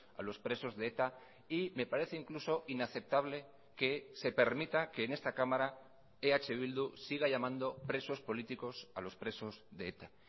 a los presos de eta y me parece incluso inaceptable que se permita que en esta cámara eh bildu siga llamando presos políticos a los presos de eta